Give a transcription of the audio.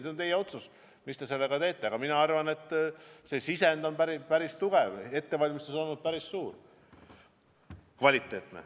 See on teie otsus, mis te sellega teete, aga mina arvan, et see sisend on päris tugev, ettevalmistus on olnud päris suur ja kvaliteetne.